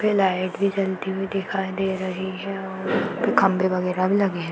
यहाँ पे लाइट भी जलती हुई दिखाई दे रही है और खंबे (खंभे) वगैरा भी लगे हैं।